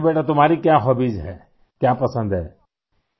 اچھا بیٹا ، تمہاری کیا ہوبیز ہیں ، کیا پسند ہیں ؟